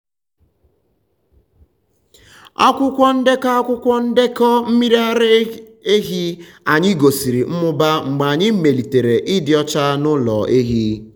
akwụkwọ ndekọ akwụkwọ ndekọ mmiri ara anyị gosiri mmụba mgbe anyị melitere ịdị ọcha n’ụlọ ehi.